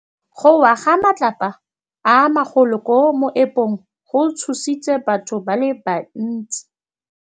Go wa ga matlapa a magolo ko moepong go tshositse batho ba le bantsi.